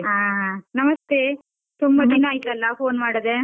ಹಾ, ನಮಸ್ತೆ, ತುಂಬ ದಿನ ಆಯ್ತಲ್ಲ phone ಮಾಡದೇ.